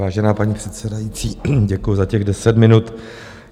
Vážená paní předsedající, děkuju za těch deset minut.